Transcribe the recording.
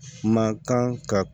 Man kan ka